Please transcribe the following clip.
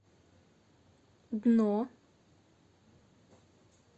дно